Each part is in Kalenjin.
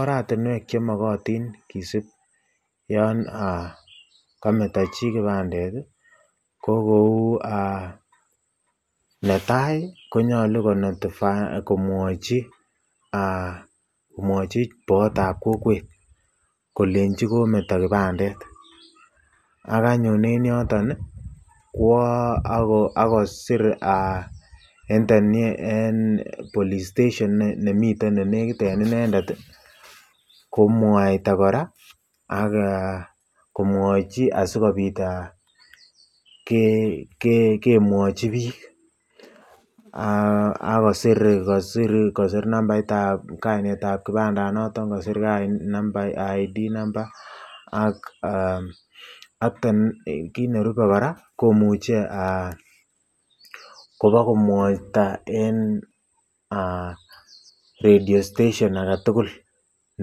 Oratinwek chemokotin kisib yooon kometo chii kipandet ko kouu netai konyolu komwochi, komwochi boyotab kokwet kolenchi kometo kipandet ak anyun en yoton kwoo akoo siir en police station nemiten en elenekit en inendet komwaita kora ak komwochi asikobit kemwochi biik ak kosir nambaitab kainetab kipanda noton kosir nambait id number ak kiit nerube kora komuche kobakomwaita en radio station aketukul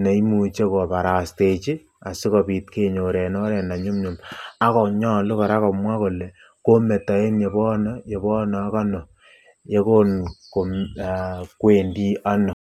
neimuche kobarastechi asikobit kenyor en oreet ne nyumnyum ak konyolu kora komwaa kolee kometo en yebono, yebono ak anoo yekon kwendi anoo.